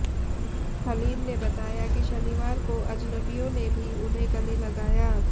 हलीम ने बताया कि शनिवार को अजनबियों ने भी उन्हें गले लगाया